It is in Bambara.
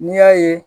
N'i y'a ye